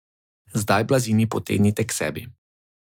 Zdaj blazini potegnite k sebi.